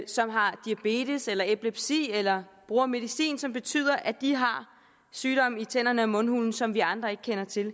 som har diabetes eller epilepsi eller bruger medicin som betyder at de har sygdomme i tænderne og mundhulen som vi andre ikke kender til